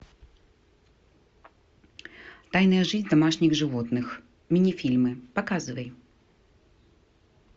тайная жизнь домашних животных мини фильмы показывай